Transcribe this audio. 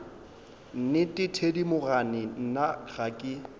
nnete thedimogane nna ga ke